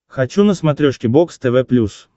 хочу на смотрешке бокс тв плюс